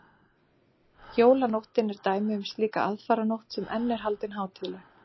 jólanóttin er dæmi um slíka aðfaranótt sem enn er haldin hátíðleg